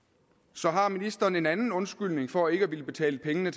så har ministeren en anden undskyldning for ikke at ville betale pengene